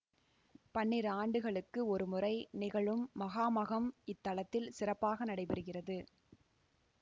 பன்னிரு ஆண்டுகளுக்கு ஒருமுறை நிகழும் மகாமகம் இத்தலத்தில் சிறப்பாக நடைபெறுகிறது